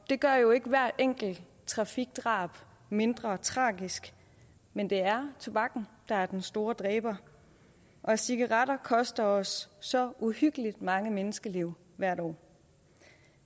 det gør jo ikke hvert enkelt trafikdrab mindre tragisk men det er tobakken der er den store dræber og cigaretter koster os så uhyggelig mange menneskeliv hvert år